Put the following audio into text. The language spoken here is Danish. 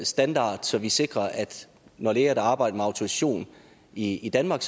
standard så vi sikrer at når læger arbejder med autorisation i danmark